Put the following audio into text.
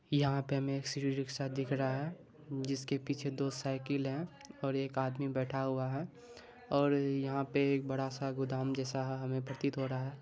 यहाँ पे हमे सिटी रिक्शा दिख रहा है जिसके पीछे दो साइकिल है और एक आदमी बैठा हुआ है और यहाँ पे एक बड़ा सा गोदाम जैसा हमे प्रतीत हो रहा है।